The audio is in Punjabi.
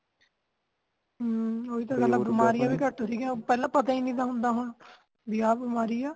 ਹੱਮ ਓਹੀ ਤਾ ਗੱਲ ਆ (overlap) ਬਮਾਰੀਆਂ ਵੀ ਘਟ ਸਿਗਿਆ ਪਹਿਲਾ ਇ ਤਾਂ ਹੁ ਹੁੰਦਾਂ ਹੁਣ ਬੀ ਆ ਬਿਮਾਰੀ ਆ